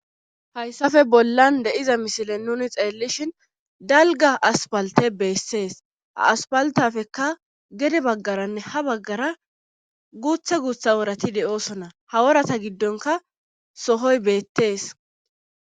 hayssafe bollan de7iza misile nuni xeellishhin dalga aspalte beessees a aspaltafekka gede baggaranne ha baggara guuthe guutha worati de7oosona haworata giddonka sohoy beettees